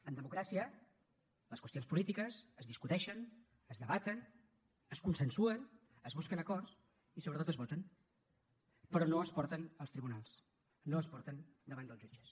en democràcia les qüestions polítiques es discuteixen es debaten es consensuen s’hi busquen acords i sobretot es voten però no es porten als tribunals no es porten davant dels jutges